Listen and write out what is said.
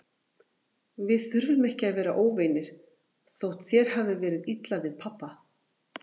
Við þurfum ekki að vera óvinir, þótt þér hafi verið illa við pabba.